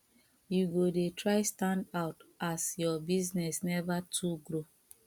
you go dey try stand out as your business neva too grow